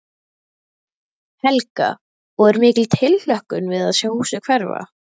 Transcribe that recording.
Helga: Og er mikil tilhlökkun við að sjá húsið hverfa?